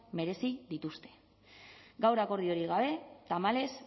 merezi dituzte gaur akordiorik gabe tamalez